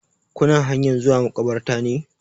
Kuna hanyan zuwa maƙabartar ne?